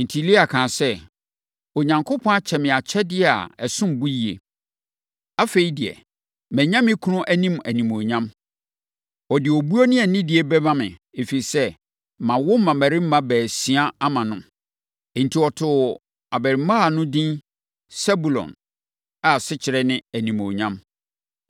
Enti, Lea kaa sɛ, “Onyankopɔn akyɛ me akyɛdeɛ a ɛsom bo yie. Afei deɛ, manya me kunu anim animuonyam. Ɔde obuo ne anidie bɛma me, ɛfiri sɛ, mawo mmammarima baasia ama no. Enti, ɔtoo abarimaa no edin Sebulon a, asekyerɛ ne Animuonyam.”